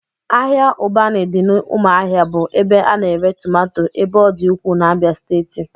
Ahịa Ụbanị dị n'ụmụahia bụ ebe a na-ere tomato ebe ọ dị ukwuu n'Abia steeti